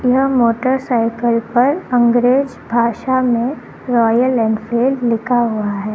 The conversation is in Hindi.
यह मोटरसाइकिल पर अंग्रेज भाषा में रॉयल एनफील्ड लिखा हुआ है।